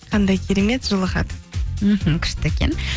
қандай керемет жылы хат мхм күшті екен